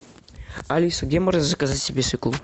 алиса где можно заказать себе свеклу